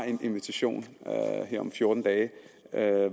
en invitation til her om fjorten dage